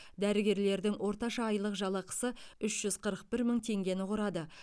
дәрігерлердің орташа айлық жалақысы үш жүз қырық бір мың теңгені құрады